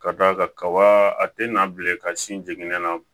Ka d'a kan kaba a tɛ na bilen ka sin jiginnen na